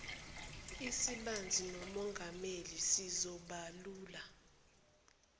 esibanzi nomongameli sizobalula